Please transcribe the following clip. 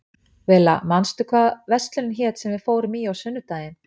Villa, manstu hvað verslunin hét sem við fórum í á sunnudaginn?